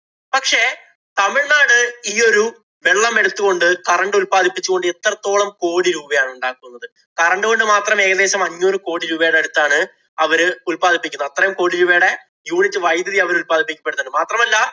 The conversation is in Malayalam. തമിഴ്നാട് ഈ ഒരു വെള്ളം എടുത്തുകൊണ്ട് current ഉത്പാദിപ്പിച്ചു കൊണ്ട് എത്രത്തോളം കോടി രൂപയാണ് ഉണ്ടാക്കുന്നത്. current കൊണ്ട് മാത്രം ഏകദേശം അഞ്ഞൂറ് കോടി രൂപയുടെ അടുത്താണ് അവര് ഉത്പാദിപ്പിക്കുന്നത്. അത്രയും കോടി രൂപയുടെ unit വൈദ്യുതി അവര് ഉല്‍പാദിപ്പിക്കപ്പെടുന്നുണ്ട്. മാത്രമല്ല,